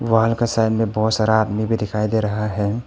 Wall का side में बहोत सारा आदमी भी दिखाई दे रहा है।